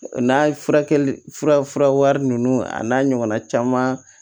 N'a furakɛli fura nunnu a n'a ɲɔgɔnna caman